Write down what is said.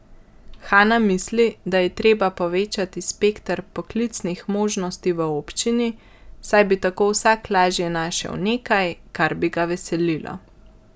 Hana misli, da je treba povečati spekter poklicnih možnosti v občini, saj bi tako vsak lažje našel nekaj, kar bi ga veselilo.